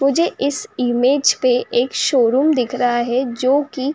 मुझे इस इमेज पे एक शोरूम दिख रहा है जोकि --